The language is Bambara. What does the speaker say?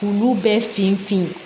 K'olu bɛɛ finfin fin